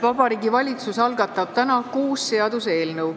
Vabariigi Valitsus algatab täna kuus seaduseelnõu.